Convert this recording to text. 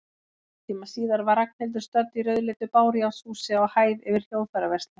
Hálftíma síðar var Ragnhildur stödd í rauðleitu bárujárnshúsi, á hæð yfir hljóðfæraverslun.